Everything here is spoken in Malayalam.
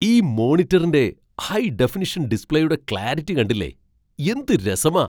ഈ മോണിറ്ററിന്റെ ഹൈ ഡെഫനിഷൻ ഡിസ്പ്ലേയുടെ ക്ലാരിറ്റി കണ്ടില്ലേ, എന്ത് രസമാ!